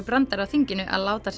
brandari á þinginu að láta